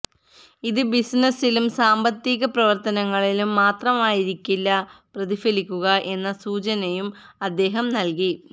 ഇത് ബിസിനിസിലും സാമ്പത്തീക പ്രവര്ത്തനങ്ങളിലും മാത്രമായിരിക്കില്ല പ്രതിഫലിക്കുക എന്ന സൂചനയും അദ്ദേഹം നല്കി